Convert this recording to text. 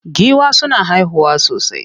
Giwa suna haihuwa sosai.